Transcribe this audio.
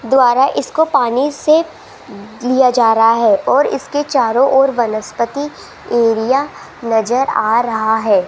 द्वारा इसको पानी से लिया जा रहा है और इसके चारों ओर वनस्पति एरिया नजर आ रहा है।